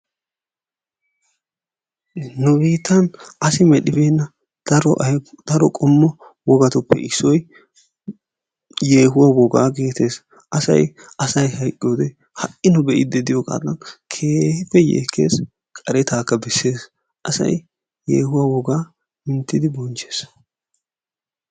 Nu biittan asi medhdhibena daro qommo wogatuppe issoy yeehuwa wogaa getettes. Asay asay hayqqiyode ha"i nu be"iiddi de"iyogadan keehippe yeekkes qaretaakka besses. Asay yeehuwaa wogaa minttidi bonchches.